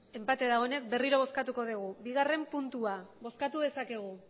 enpate dagoenez berriro bozkatuko dugu bigarren puntua bozkatu dezakegu